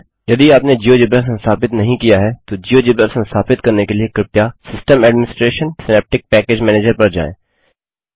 यदि आपने जियोजेब्रा संस्थापित नहीं किया है तो जियोजेब्रा संस्थापित करने के लिए कृपया system administration synaptic package manager पर जाएँ